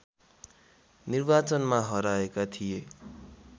निर्वाचनमा हराएका थिए